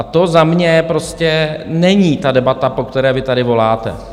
A to za mě prostě není ta debata, po které vy tady voláte.